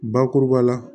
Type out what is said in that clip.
Bakuruba la